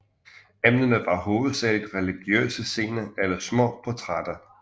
Emnerne var hovedsageligt religiøse scener eller små portrætter